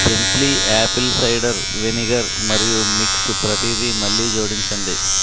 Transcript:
gently apple cider vinegar మరియు mix ప్రతిదీ మళ్ళీ జోడించండి